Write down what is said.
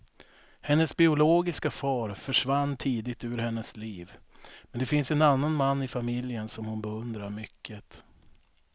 Hennes biologiska far försvann tidigt ur hennes liv, men det finns en annan man i familjen som hon beundrar mycket.